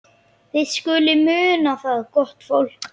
Þið skuluð muna það, gott fólk,